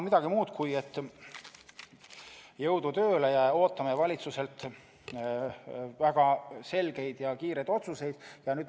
Nii et jõudu tööle ja ootame valitsuselt väga selgeid ja kiireid otsuseid!